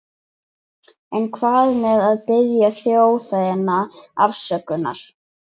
En hvað með að biðja þjóðina afsökunar?